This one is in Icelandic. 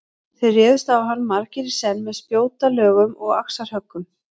Þeir réðust á hann margir í senn með spjótalögum og axarhöggum.